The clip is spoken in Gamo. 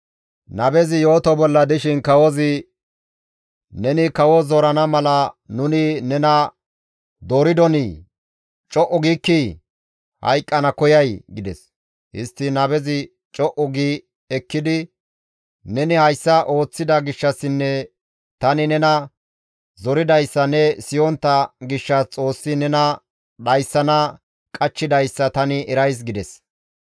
Nabezi yooto bolla dishin kawozi, «Neni kawo zorana mala nuni nena dooridonii? Co7u giikkii! Hayqqana koyay?» gides. Histtiin nabezi co7u gi ekkidi, «Neni hayssa ooththida gishshassinne tani nena zoridayssa ne siyontta gishshas Xoossi nena dhayssana qachchidayssa tani erays» gides.